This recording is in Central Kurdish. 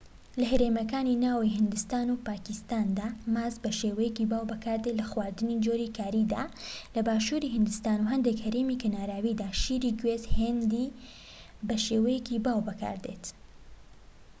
لە هەرێمەکانی ناوەوەی هیندستان و پاکیستاندا ماست بە شێوەیەکی باو بەکاردێت لە خواردنی جۆری کاریدا لە باشووری هیندستان و هەندێك هەرێمی کەناراویدا شیری گوێز هیندی بە شێوەیەکی باو بەکاردێت